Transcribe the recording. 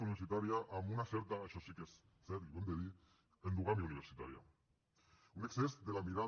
universitària amb una certa això sí que és cert i ho hem de dir endogàmia universitària un excés de la mirada